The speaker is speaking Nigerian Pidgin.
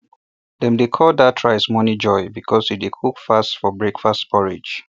dem dey call that rice morning joy because e dey cook fast for breakfast porridge